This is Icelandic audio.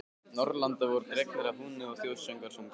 Norðurlanda voru dregnir að húni og þjóðsöngvar sungnir.